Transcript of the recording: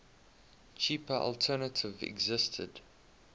cheaper alternative existed